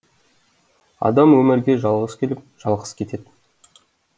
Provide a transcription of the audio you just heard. адам өмірге жалғыз келіп жалғыз кетеді